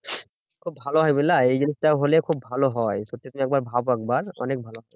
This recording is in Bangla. খুব ভালো হয় বুঝলা? এই জিনিসটা হলে খুব ভালো হয় সত্যি তুমি একবার ভাবো একবার অনেক ভালো।